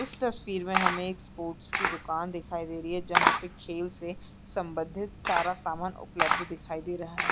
इस तस्वीर में हमें एक स्पोर्ट्स की दुकान दिखाई दे रही है जहां पर खेल से संबंधित सारा सामान उपलब्ध दिखाई दे रहा है।